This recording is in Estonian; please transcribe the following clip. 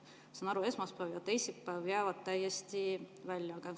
Ma saan aru, et esmaspäev ja teisipäev jäävad täiesti välja.